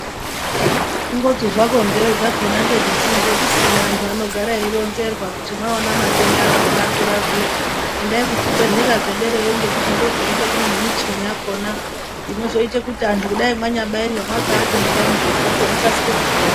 Kungoti zvako nzee dzakhona ngedzetinenge tisina, antu anogara eironzerwa kuti mwaona matenda akhona akura zviya endai kuzvibhedhlera zvederayo ngekuti ndokunenge kune nemichini yakhona inozoite kuti antu kudayi mwanyabairwe mwakaata nepamubhedhupo mukasike kupora.